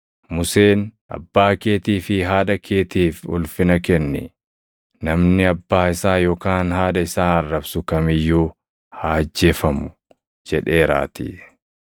Museen, ‘Abbaa keetii fi haadha keetiif ulfina kenni; + 7:10 \+xt Bau 20:12; KeD 5:16\+xt* namni abbaa isaa yookaan haadha isaa arrabsu kam iyyuu haa ajjeefamu’ + 7:10 \+xt Bau 21:17; Lew 20:9\+xt* jedheeraatii.